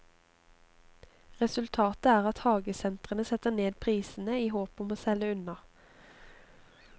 Resultatet er at hagesentrene setter ned prisene, i håp om å selge unna.